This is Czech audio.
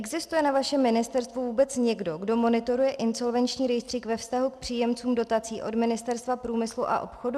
Existuje na vašem ministerstvu vůbec někdo, kdo monitoruje insolvenční rejstřík ve vztahu k příjemcům dotací od Ministerstva průmyslu a obchodu?